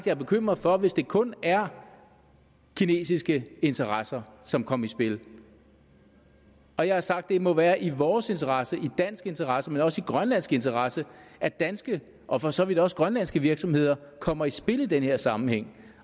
er bekymret for hvis det kun er kinesiske interesser som kom i spil og jeg har sagt at det må være i vores interesse i dansk interesse men også i grønlandsk interesse at danske og for så vidt også grønlandske virksomheder kommer i spil i den her sammenhæng